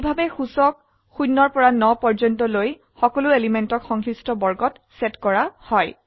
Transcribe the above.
এইভাবে সূচক 0 পৰা 9 পৰ্যন্ত লৈ সকলো এলিমেন্টক সংশ্লিষ্ট বৰ্গত সেট কৰা হয়